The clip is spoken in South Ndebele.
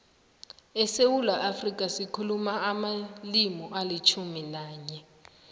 esewula afrika sikhuluma amalimi alitjhumi nanye